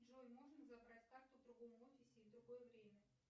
джой можно забрать карту в другом офисе и в другое время